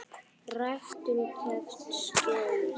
Ræktun krefst skjóls.